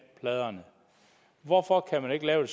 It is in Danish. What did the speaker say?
pladerne hvorfor kan man ikke lave